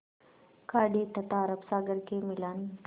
खाड़ी तथा अरब सागर के मिलन